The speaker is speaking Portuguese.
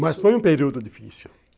Mas foi um período difícil.